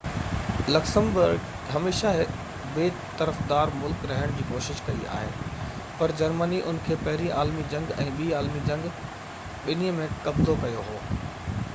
Luxembourg هميشہ هڪ بي طرفدار ملڪ رهڻ جي ڪوشش ڪئي آهي پر جرمني ان کي پهرين عالمي جنگ ۽ ٻي عالمي جنگ ٻني ۾ قبضو ڪيو هو